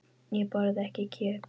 Ég borða ekki kjöt.